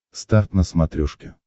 старт на смотрешке